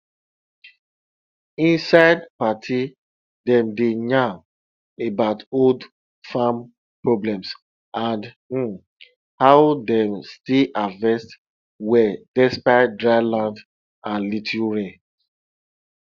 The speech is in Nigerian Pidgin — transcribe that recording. inside party dem dey yarn about old farm problems and um how dem still harvest well despite dry land and little rain